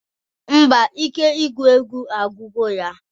Ḿbà, ike igụ ewgu agwugo ya.